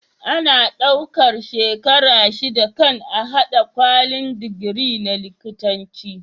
Ana ɗaukar shekara shida kan a hada kwalin digiri na likitanci